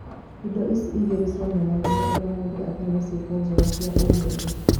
Indo ici igĩrĩ cionanagia ũrĩa mũndũ atariĩ na ciĩko njega cia mũndũ.